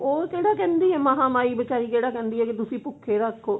ਉਹ ਕਿਹੜਾ ਕਹਿੰਦੀ ਹੈ ਮਹਾ ਮਾਈ ਬਚਾਰੀ ਕਿਹੜਾ ਕਹਿੰਦੀ ਹੈ ਕਿ ਤੁਸੀਂ ਭੁੱਖੇ ਰੱਖੋ